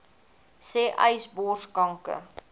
sê uys borskanker